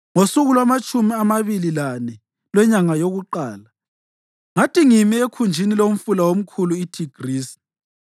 Ngosuku lwamatshumi amabili lane lwenyanga yokuqala, ngathi ngimi ekhunjini lomfula omkhulu, iThigrisi,